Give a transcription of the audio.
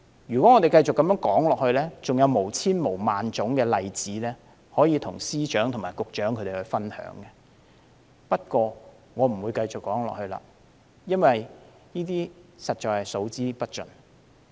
如果我們繼續說下去，還有千萬個例子可以與司長和局長分享，不過，我不再說下去了，因為這些實在是數之不盡。